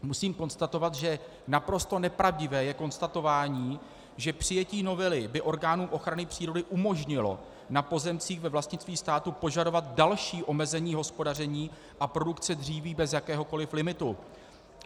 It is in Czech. Musím konstatovat, že naprosto nepravdivé je konstatování, že přijetí novely by orgánům ochrany přírody umožnilo na pozemcích ve vlastnictví státu požadovat další omezení hospodaření a produkce dříví bez jakéhokoli limitu.